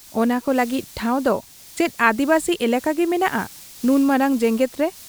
ᱚᱱᱟᱠᱚ ᱞᱟᱹᱜᱤᱫ ᱴᱷᱟᱶ ᱫᱚ ᱪᱮᱫ ᱟᱹᱫᱤᱵᱟᱹᱥᱤ ᱮᱞᱟᱠᱟᱜᱮ ᱢᱮᱱᱟᱜ ᱟ ᱱᱩᱱ ᱢᱟᱨᱟᱝ ᱡᱮᱜᱮᱛ ᱨᱮ ?